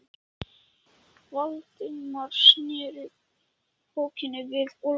Valdimar sneri bókinni við og las